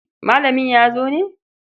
Malamin ya zo ne?